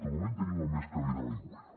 de moment tenim el més calent a l’aigüera